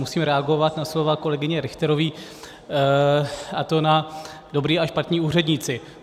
Musím reagovat na slova kolegyně Richterové, a to na dobří a špatní úředníci.